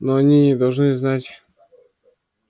но они не должны знать